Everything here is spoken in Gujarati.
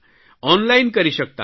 ઓનલાઇન કરી શકતા હતા